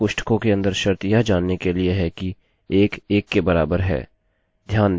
ध्यान दें मैं यहाँ डबल इक्वल टू चिन्ह का उपयोग कर रहा हूँ यह कम्पेरिज़न ऑपरेटर है